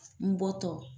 N bɔ tɔ